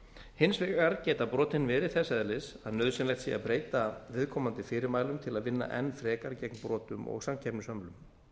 hins vegar geta brotin verið þess eðlis að nauðsynlegt sé að breyta viðkomandi fyrirmælum til að vinna enn frekar gegn brotum og samkeppnishömlum